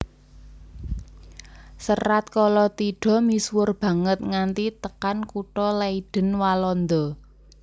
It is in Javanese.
Serat Kalatidha misuwur banget nganti tekan kutha Leiden Walanda